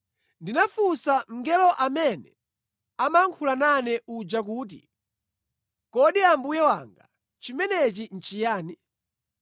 Ndinafunsa mngelo amene amayankhula nane uja kuti, “Kodi mbuye wanga chimenechi nʼchiyani?”